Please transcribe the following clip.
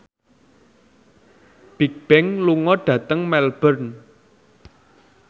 Bigbang lunga dhateng Melbourne